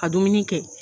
Ka dumuni kɛ